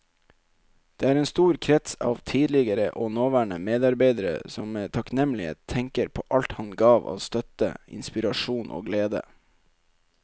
Det er en stor krets av tidligere og nåværende medarbeidere som med takknemlighet tenker på alt han ga av støtte, inspirasjon og glede.